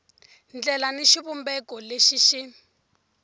ndlela ni xivumbeko lexi xi